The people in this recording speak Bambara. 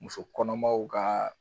Muso kɔnɔmaw ka